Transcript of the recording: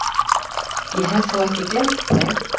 Ég hef þó ekki gleymt þeim!